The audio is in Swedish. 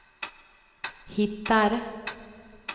hittar